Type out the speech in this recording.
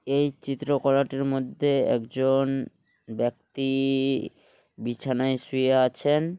এই চিত্রকলাটির মধ্যে একজন ব্যক্তি ই বিছানায় শুয়ে আছেন ।